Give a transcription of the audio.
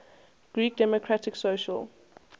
greek democratic social